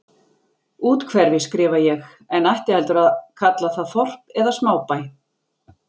Úthverfi, skrifa ég, en ætti heldur að kalla það þorp eða smábæ.